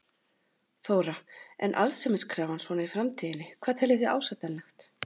Þóra: En arðsemiskrafan svona í framtíðinni, hvað teljið þið ásættanlegt?